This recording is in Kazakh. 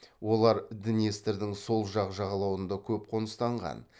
олар днестірдің сол жақ жағалауында көп қоныстанған